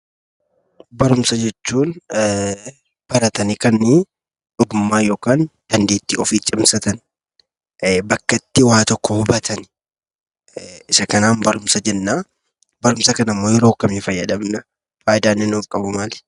Barumsa jechuun baratanii kan ogummaa yookaan dandeettii ofii cimsatan, bakka itti waa tokko hubatan isa kanaan barumsa jenna. Barumsa kana immoo yeroo akkamii fayyadamna? Faayidaan inni nuuf qabu maali?